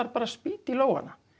bara að spýta í lófana